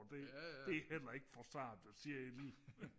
det det heller ikke for sarte sjæle